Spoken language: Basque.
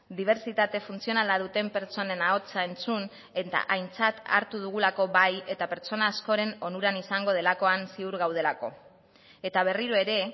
dibertsitate funtzionala duten pertsonen ahotsa entzun eta aintzat hartu dugulako bai eta pertsona askoren onuran izango delakoan ziur gaudelako eta berriro ere